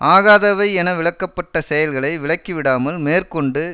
ஆகாதவை என விலக்கப்பட்ட செயல்களை விலக்கிவிடாமல் மேற்கொண்டு